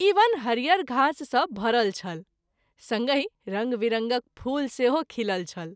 ई वन हरियर घास सँ भरल छल संगहि रंग विरंगक फूल सेहो खिलल छल।